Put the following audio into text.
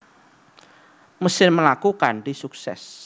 Mesin mlaku kanthi suksès